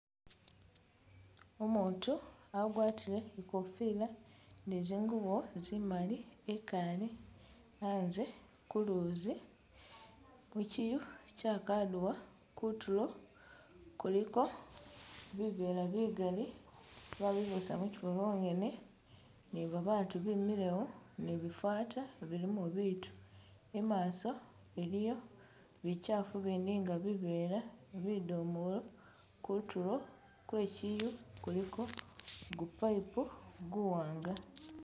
Umuutu agwatile i'kofila ne zingubo zimali e'kaale a'nze kuluuzi muchiyu cha kadiwa, kutuulo kuliko bivela bigali babibusa muchifo mwongene ni babaatu bemilewo ni bifata bilimo bitu, i'maaso iliyo bichafu bindi nga bivela bidomolo, kutuulo kwe chiyu kuliko ku'pipe kuwaanga